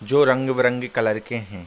जो रंग-बिरंगे कलर के है ।